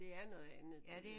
Det er noget andet